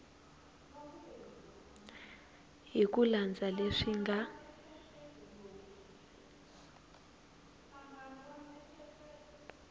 hi ku landza leswi nga